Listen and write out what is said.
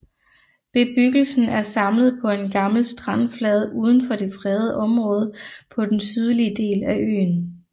Bebyggelsen er samlet på en gammel strandflade udenfor det fredede området på den sydlige del af øen